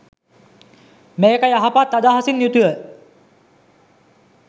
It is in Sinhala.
මේක යහපත් අදහසින් යුතුව